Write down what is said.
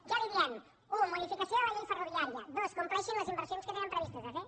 què li diem u modificació de la llei ferroviària dos complexin les inversions que tenen previstes de fer